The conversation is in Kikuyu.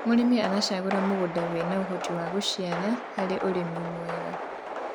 mũrĩmi aracagura mũgũnda wina uhoti wa guciara harĩ ũrĩmi mwega